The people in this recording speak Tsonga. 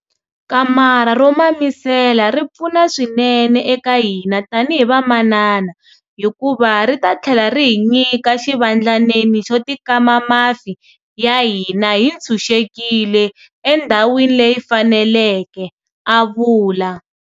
Kamara ro mamisela ri pfuna swinene eka hina tanihi vamanana hikuva ri ta tlhela ri hi nyika xivandlanene xo tikama mafi ya hina hi tshunxekile endhawini leyi faneleke, a vula.